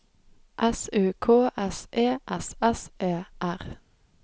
S U K S E S S E R